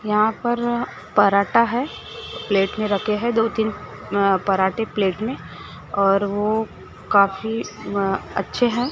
यहां पर पराठा है प्लेट में रखे हैं दो तीन अ पराठे प्लेट में और वो काफी अ अच्छे है।